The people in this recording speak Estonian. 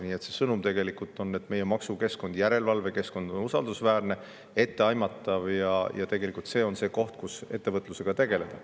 Nii et see sõnum tegelikult on, et meie maksukeskkond ja järelevalvekeskkond on usaldusväärsed ja etteaimatavad, ja tegelikult on siin see koht, kus ettevõtlusega tegeleda.